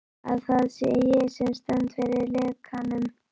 Að það sé ég, sem stend fyrir lekanum.